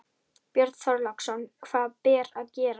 Björn Þorláksson: Hvað ber að gera?